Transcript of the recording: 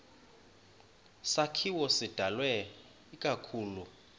sakhiwo sidalwe ikakhulu